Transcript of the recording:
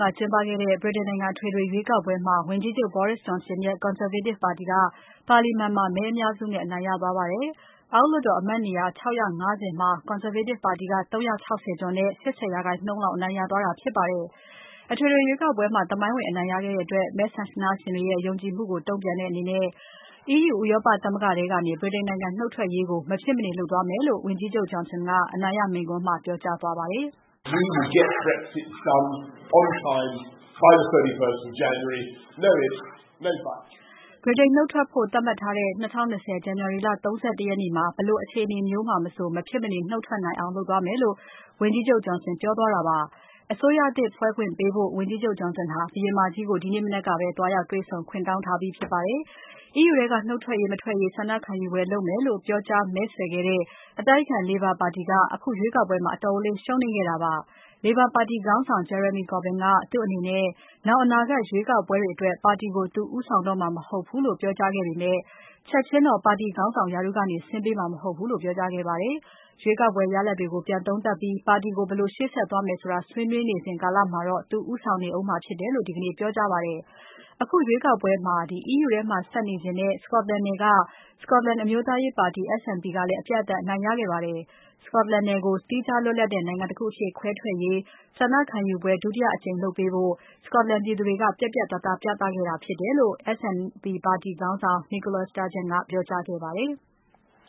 ကကျင်းပခဲ့တဲ့ ဗြိတိန်နိုင်ငံအထွေထွေရွေးကောက်ပွဲမှာ ဝန်ကြီးချုပ် Boris Johnson ရဲ့ Conservative ပါတီက ပါလီမန်မှာ မဲအများစုနဲ့ အနိုင်ရသွားပါတယ်။ အောက်လွှတ်တော်အမတ်နေရာ ၆၅၀ မှာ Conservative ပါတီက ၃၆၀ ကျော်နဲ့ ၈၀ ရာခိုင်နှုန်းလောက် အနိုင်ရသွားတာဖြစ်ပါတယ်။ အထွေထွေရွေးကောက်ပွဲမှာ သမိုင်းဝင်အနိုင်ရခဲ့တဲ့အတွက် မဲဆန္ဒရှင်တွေရဲ့ ယုံကြည်မှုကို တုံ့ပြန်တဲ့အနေနဲ့ EU ဥရောပသမဂ္ဂထဲကနေ ဗြိတိန်နှုတ်ထွက်ရေးကို မဖြစ်မနေလုပ်သွားမယ်လို့ ဝန်ကြီးချုပ် Johnson ကအနိုင်ရမိန့်ခွန်းမှာ ပြောကြားသွားပါတယ်။ “ဗြိတိန်နုတ်ထွက်ဖို့ သတ်မှတ်ထားတဲ့ ၂၀၂၀ ဇန်နဝါရီ လ ၃၁ ရက်နေ့မှာ ဘယ်လိုအခြေအနေမျိုးမှာ မဆို မဖြစ်မနေ နုတ်ထွက်နိုင်အောင် လုပ်သွားမယ်” လို့ ဝန်ကြီးချုပ် Johnson ကပြောကြားသွားတာဖြစ်ပါတယ်။ အစိုးရသစ်ဖွဲ့ခွင့်ပေးဖို့ ဝန်ကြီးချုပ် Johnson ဟာ ဘုရင်မကြီးကို ဒီနေ့မနက်ကပဲ သွားရောက်တွေ့ဆုံ ခွင့်တောင်းထားပြီးဖြစ်ပါတယ်။ EU ထဲက ထွက်ရေး မထွက်ရေးဆန္ဒခံယူပွဲလုပ်မယ်လို့ ပြောကြားမဲဆွယ်ခဲ့တဲ့ အတိုက်အခံ Labour ပါတီက အခုရွေးကောက်ပွဲမှာ အတော်လေးရှုံးနိမ့်ခဲ့တာပါ။ Labour ပါတီခေါင်းဆောင် Jeremy Corbyn ကသူ့အနေနဲ့ နောင်အနာဂတ် ရွေးကောက်ပွဲတွေအတွက် ပါတီကို သူဦးဆောင်တော့မှာ မဟုတ်ဘူးလို့ ပြောကြားခဲ့ပေမဲ့၊ ချက်ချင်းတော့ ပါတီခေါင်းဆောင်ရာထူးကနေ ဆင်းပေးမှာ မဟုတ်ဘူးလို့ ပြောကြားခဲ့ပါတယ်။ ရွေးကောက်ပွဲရလဒ်တွေကို ပြန်လည်သုံးသပ်ပြီး ပါတီကို ဘယ်လိုရှေ့ဆက်သွားမလဲဆိုတာ ဆွေးနွေးနေစဉ်ကာလမှာတော့ သူဦးဆောင်နေဦးမှာဖြစ်တယ်လို့ ဒီကနေ့ ပြောကြားခဲ့ပါတယ်။ အခုရွေးကောက်ပွဲမှာ EU ထဲမှာဆက်နေချင်တဲ့ Scotland နယ်က Scotland အမျိုးသားရေးပါတီ SNP ကလည်း အပြတ်အသတ်အနိုင်ရခဲ့ပါတယ်။ Scotland နယ်ကို သီးခြားလွတ်လပ်တဲ့ နိုင်ငံတခုအဖြစ်ခွဲထွက်ရေး ဆန္ဒခံယူပွဲ ဒုတိယအကြိမ်လုပ်ပေးဖို့ Scotland ပြည်သူတွေက ပြတ်ပြတ်သားသားပြသခဲ့တာဖြစ်တယ်လို့ SNP ပါတီခေါင်းဆောင် Nicola Sturgeon ကပြောကြားခဲ့ပါတယ်။